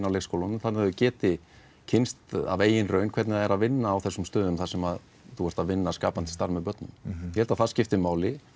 leikskólunum þannig þau geti kynnst af eigin raun hvernig það er að vinna á þessum stöðum þar sem þú ert að vinna skapandi starf með börnum ég held að það skipti máli